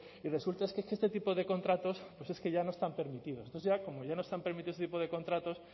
y resulta que este tipo de contratos pues es que ya no están permitidos entonces ya como ya no están permitidos este tipo de contratos